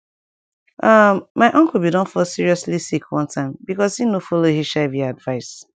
um my uncle bin don fall seriously sick one time because e no follow hiv advice